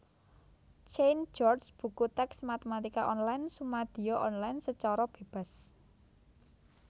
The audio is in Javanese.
Cain George Buku tèks Matématika Online sumadiya online sacara bébas